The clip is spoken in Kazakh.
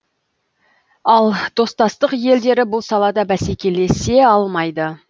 ал достастық елдері бұл салада бәсекелесе алмайды